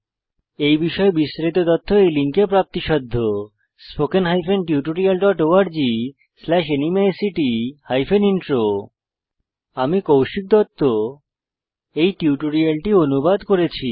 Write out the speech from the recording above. এই বিষয়ে বিস্তারিত তথ্য এই লিঙ্কে প্রাপ্তিসাধ্য httpspoken tutorialorgNMEICT Intro আমি কৌশিক দত্ত এই টিউটোরিয়ালটি অনুবাদ করেছি